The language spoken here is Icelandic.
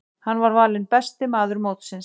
Hann var valinn besti maður mótsins.